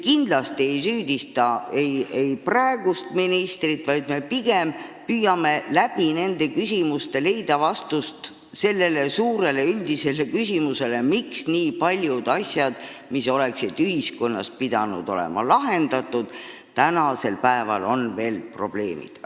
Me kindlasti ei süüdista praegust ministrit, aga me püüame nende küsimuste kaudu leida vastust sellele suurele üldisele küsimusele, miks on nii paljud asjad, mis oleksid pidanud olema ühiskonnas juba ammu lahendatud, ikka veel probleemiks.